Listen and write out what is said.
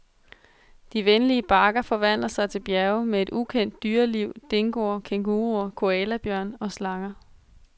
De venlige bakker forvandler sig til bjerge med et ukendt dyreliv, dingoer, kænguruer, koalabjørne, slanger.